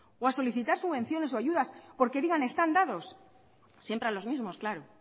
o a solicitar subvenciones o ayudas porque digan están dados siempre a los mismos claro